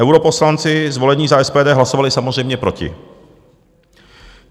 Europoslanci zvolení za SPD hlasovali samozřejmě proti.